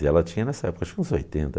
E ela tinha, nessa época, acho que uns oitenta.